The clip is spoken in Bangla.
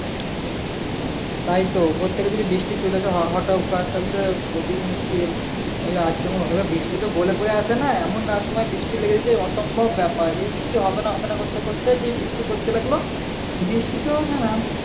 তাইতো উপর থেকে যদি বৃষ্টি চলে আসে হটকার তাহলে তো খুবই মুশকিল এই আচমকা এবার বৃষ্টি তো বলে কয়ে আসে না এমন অসময় বৃষ্টি লেগে যাই অসম্ভব ব্যাপার এই বৃষ্টি হবে না হবে না করতে করতে যেই বৃষ্টি পড়তে লাগলো বৃষ্টি তো না না